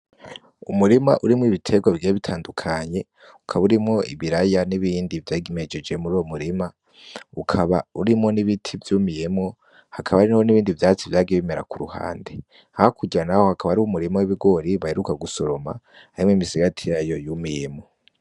Umurima urimwo ibitegwa bigiye bitandukanye ukaba urimwo ibiraya nibindi vyari vyimejeje muruwo murima ukaba urimwo nibiti vyumiyemwo haba harimwo nibindi vyatsi vyagiye bimera kuruhande. Hakurya naho habaka hariho umurima w’Ibigori baheruka gusoroma hariyo imisigati yumiyemwo.